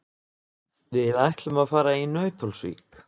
Við ætlum að fara í Nauthólsvík.